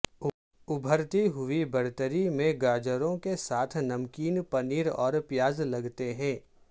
ابھرتی ہوئی برتری میں گاجروں کے ساتھ نمکین پنیر اور پیاز لگاتے ہیں